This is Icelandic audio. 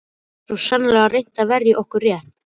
Ég hef svo sannarlega reynt að verja okkar rétt.